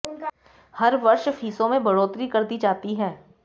हर वर्ष फीसों में बढ़ोतरी कर दी जाती है